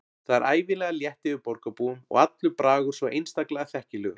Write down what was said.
Það er ævinlega létt yfir borgarbúum og allur bragur svo einstaklega þekkilegur.